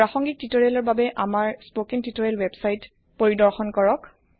প্ৰাসংগীক তুতৰিয়েলৰ বাবে আমাৰ স্পকেন তুতৰিয়েল ওয়েবসাইট পৰিৰ্দশন কৰক